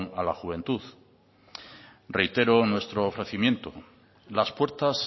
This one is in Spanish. a la juventud reitero en nuestro ofrecimiento las puertas